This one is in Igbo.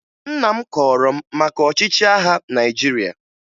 Nna m kọọrọ m maka ọchịchị agha Naịjirịa